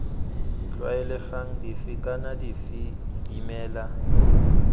tlwaelegang dife kana dife dimela